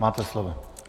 Máte slovo.